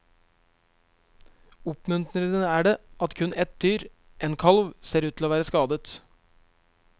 Oppmuntrende er det at kun ett dyr, en kalv, ser ut til å være skadet.